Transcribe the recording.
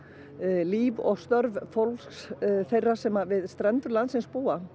líf og störf fólks þeirra sem við strendur landsins búa